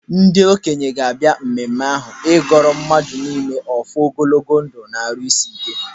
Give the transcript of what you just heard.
Ndị okenye ga-abịa mmemme ahụ ịgọọrọ mmadụ niile ọfọ ogologo ndụ na-arụ isi ike.